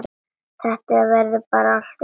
Þetta verður alltaf ykkar barn.